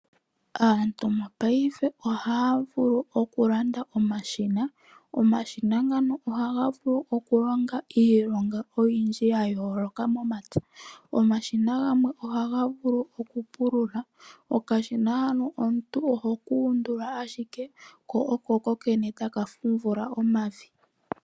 Aantu mopaife oha ya vulu oku landa omashina. Omashina ngano oha ga vulu oku longa iilonga oyindji yayooloka momapya; omashina gamwe ogo ku pulula. Okashina hano omuntu oho ka undula ashike ee taka fundula omavi kukokene.